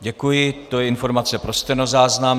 Děkuji, to je informace pro stenozáznam.